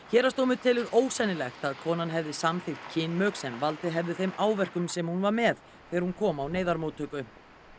héraðsdómur telur ósennilegt að konan hefði samþykkt kynmök sem valdið hefðu þeim áverkum sem hún var með þegar hún kom á neyðarmóttöku